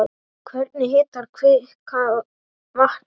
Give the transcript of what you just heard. Hvernig hitar kvikan vatnið?